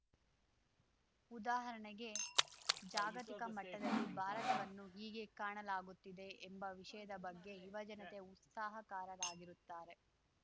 ಉದಾಹರಣೆಗೆ ಜಾಗತಿಕ ಮಟ್ಟದಲ್ಲಿ ಭಾರತವನ್ನು ಹೀಗೆ ಕಾಣಲಾಗುತ್ತಿದೆ ಎಂಬ ವಿಷಯದ ಬಗ್ಗೆ ಯುವ ಜನತೆ ಉಸ್ಥಾಹಕಾರಾಗಿರುತ್ತಾರೆ